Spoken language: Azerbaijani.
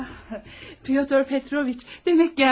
Pyotr Petroviç, demək gəldiniz.